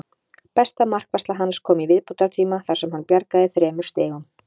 Besta markvarsla hans kom í viðbótartíma þar sem hann bjargaði þremur stigum.